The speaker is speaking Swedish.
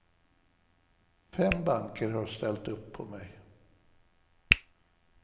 Fem banker har ställt upp på mig.